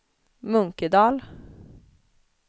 Munkedal